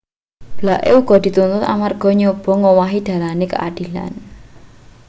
blake uga dituntut amarga nyoba ngowahi dalane keadilan